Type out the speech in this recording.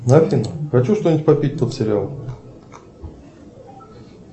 афина хочу что нибудь попить под сериал